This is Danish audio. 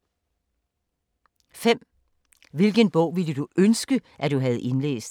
5) Hvilken bog ville du ønske, at du havde indlæst?